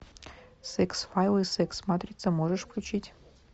секс файлы секс матрица можешь включить